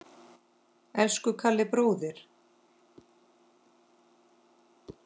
Elsku Kalli bróðir.